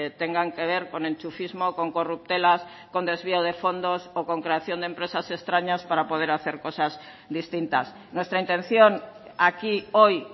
tengan que ver con enchufismo con corruptelas con desvío de fondos o con creación de empresas extrañas para poder hacer cosas distintas nuestra intención aquí hoy